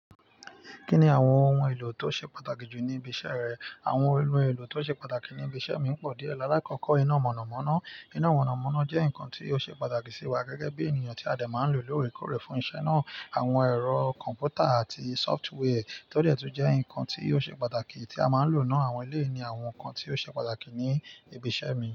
Kí ni àwọn ohun èlò tó ṣe pàtàkì jù ní ibi iṣẹ́ rẹ? Àwọn ohun èlò tó ṣe pàtàkì ní ibi iṣẹ́ mi pọ̀ díẹ̀. Láàkọ́kọ́, iná mọ̀nàmọ́ná. Iná mọ̀nàmọ́ná jẹ́ nǹkan tí ó ṣe pàtàkì sí wa gẹ́gẹ́ bí ènìyàn tí a de máa ń lò lóòrèkóòrè fún iṣẹ́ náà. Àwọn ẹ̀rọ kọ̀m̀pútà àti sófútwẹ́ tó de tun jẹ́ nǹkan tí ó ṣe pàtàkì tí a máa ń lò náà. Àwọn eléyi ni àwọn nǹkan tí ó ṣe pàtàkì ní ibi iṣẹ́ mi.